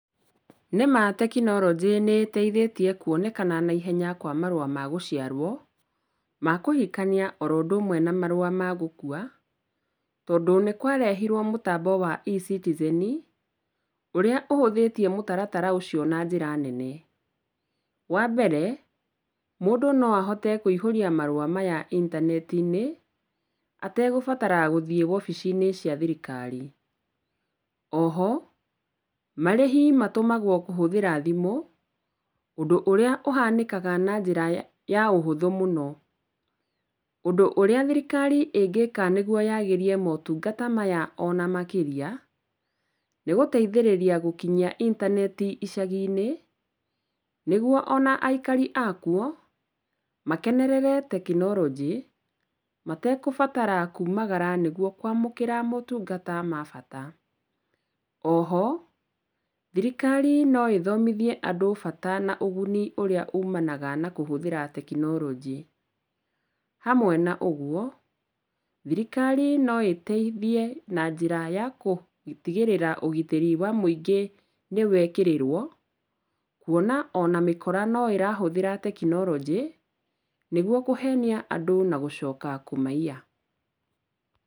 Nĩ ma tekinoronjĩ nĩteithitie kuonekana na ihenya kwa marũa ma gũciarwo, ma kũhikania oro ũndũ ũmwe na marũa ma gũkua, tondũ nĩkwarehirwo mũtambo wa eCitizen, ũrĩa ũhũthĩtie mũtaratara ũcio na njĩra nene. Wa mbere, mũndũ no ahote kũihũria marũa maya intaneti-inĩ, ategũbatara gũthiĩ wobici-inĩ cia thirikari. O ho marĩhi matũmagwo kũhũthĩra thimũ, ũndũ ũrĩa ũhanĩkaga na njĩra ya ũhũthũ mũno. Ũndũ ũrĩa thirikari ĩngĩka nĩguo yagĩrie motungata maya ona makĩria, nĩgũteithĩrĩria gũkinyia intaneti icagi-inĩ, nĩguo ona aikari akuo, makenerere tekinoronjĩ, matekũbatara kumagara nĩguo kwamũkĩra motungata ma bata. O ho thirikari no ĩthomithie andũ bata na ũguni ũrĩa umanaga na kũhũthĩra tekinoronjĩ. Hamwe na ũguo, thirikari no ĩteithia na njĩra ya gũtigĩrĩra ũgitĩri wa mũingĩ nĩwekĩrĩrwo, kuona ona mĩkora no ĩrahũthĩra tekinoronjĩ, nĩguo kũhenia andũ na gũcoka kũmaiya.